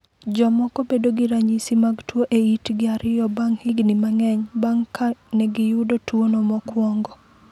Jomoko bedo gi ranyisi mag tuo e itgi ariyo bang’ higni mang’eny bang’ ka ne giyudo tuwono mokwongo.